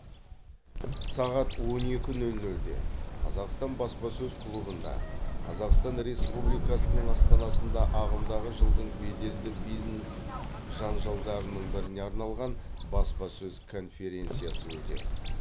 сағат он екі нөл нөлде қазақстан баспасөз клубында қазақстан республикасының астанасында ағымдағы жылдың беделді бизнес жанжалдарының біріне арналған баспасөз конференциясы өтеді